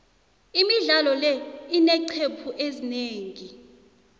imidlalo le ineeqcephu ezinengi